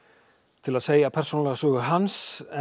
til að segja persónulega sögu hans en